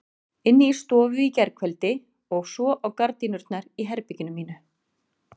Inni í stofu í gærkveldi og svo á gardínurnar í herberginu mínu.